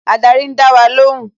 Ádárì ń dá wa lóhùn